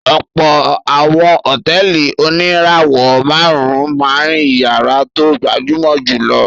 Ọ̀pọ̀ àwọn hòtẹ́ẹ́lì oníràwọ̀-márùn-ún máa ń ìyàrá tó gbajúmọ̀ jù lọ.